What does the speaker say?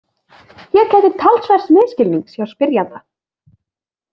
Hér gætir talsverðs misskilnings hjá spyrjanda.